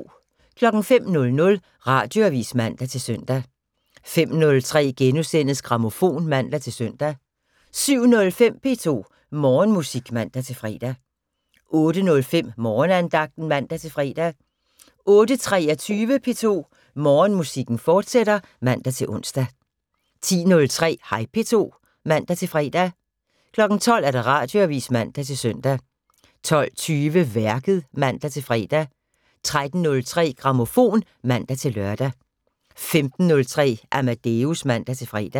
05:00: Radioavis (man-søn) 05:03: Grammofon *(man-søn) 07:05: P2 Morgenmusik (man-fre) 08:05: Morgenandagten (man-fre) 08:23: P2 Morgenmusik, fortsat (man-ons) 10:03: Hej P2 (man-fre) 12:00: Radioavis (man-søn) 12:20: Værket (man-fre) 13:03: Grammofon (man-lør) 15:03: Amadeus (man-fre)